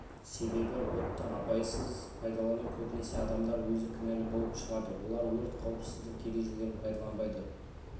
себебі отты абайсыз пайдалану көбінесе адамдар өзі кінәлі болып шығады олар өрт қауіпсіздік ережелерін пайдаланбайды